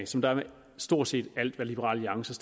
som der er med stort set alle liberal alliances